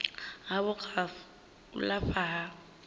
havho kha u lafha ha